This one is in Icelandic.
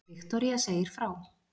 Viktoría segir frá